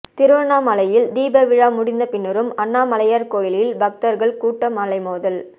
திருவண்ணாமலையில் தீப விழா முடிந்தபின்னரும் அண்ணாமலையார் கோயிலில் பக்தர்கள் கூட்டம் அலைமோதல்